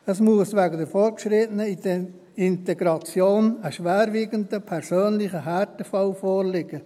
Es muss weder eine fortgeschrittene Integration, noch ein schwerwiegender persönlicher Härtefall vorliegen.